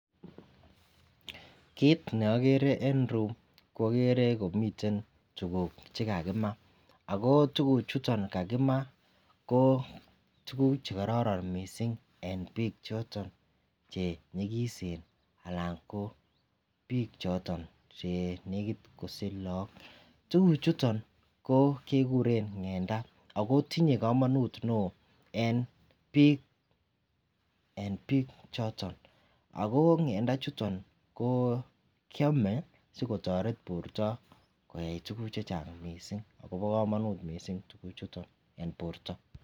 Kit neagere en ireyu koagere komiten tuguk chekakimaa ako tuguk chuton kakimaako tuguk chekararan mising en bik choton chenyikisen anan ko bik choton Che nekit kosich lagok ako tuguk chuton kekuren ngenda akotinye kamanut neon en bik choton ako ngendo ichuton kiame sikotaret borta en tuguk chechang mising akobo kamanut mising tuguk chuton en borta.